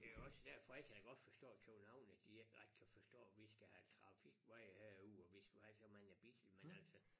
Det også derfor jeg kan da godt forstå at københavnere de ikke ret kan forstå vi skal have trafikveje herude og vi skal have så mange biler men altså